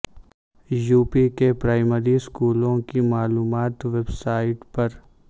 UP کے primary اسکولوں کی معلومات ویب سائٹ پر